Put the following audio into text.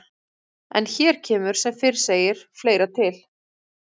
En hér kemur sem fyrr segir fleira til.